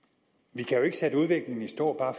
vi kan jo ikke sætte udviklingen i stå bare